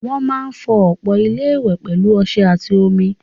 Wọ́n máa fọ ọpọ́n ilé-ìwẹ̀ pẹ̀lú ọṣẹ àti omi.